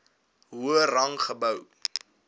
hoër rang gehou